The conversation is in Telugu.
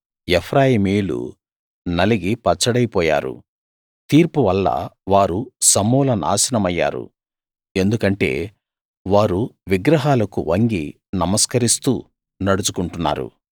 ఎఫ్రాయిమీయులు నలిగి పచ్చడైపోయారు తీర్పు వల్ల వారు సమూల నాశనమయ్యారు ఎందుకంటే వారు విగ్రహాలకు వంగి నమస్కరిస్తూ నడుచుకుంటున్నారు